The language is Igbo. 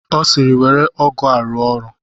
Ọ sịịrị, were ọgụ a rụọ ọrụ!